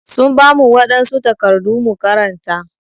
Sun bamu wadansu takardu mu karanta.